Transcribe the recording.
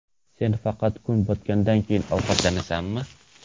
Sen faqat kun botgandan keyin ovqatlanasanmi?